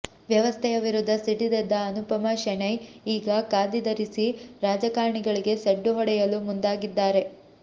ವ್ಯವಸ್ಥೆಯ ವಿರುದ್ಧ ಸಿಡಿದೆದ್ದ ಅನುಪಮಾ ಶೆಣೈ ಈಗ ಖಾದಿ ಧರಿಸಿ ರಾಜಕಾರಣಿಗಳಿಗೆ ಸಡ್ಡು ಹೊಡೆಯಲು ಮುಂದಾಗಿದ್ದಾರೆ